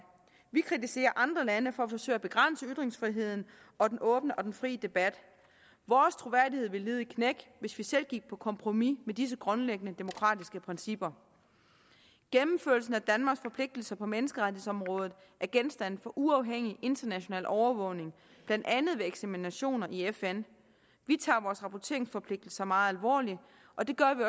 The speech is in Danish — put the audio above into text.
vi kritiserer andre lande for at forsøge at begrænse ytringsfriheden og den åbne og fri debat vores troværdighed ville lide et knæk hvis vi selv gik på kompromis med disse grundlæggende demokratiske principper gennemførelsen af danmarks forpligtelser på menneskerettighedsområdet er genstand for uafhængig international overvågning blandt andet ved eksaminationer i fn vi tager vores rapporteringsforpligtelse meget alvorligt og det gør vi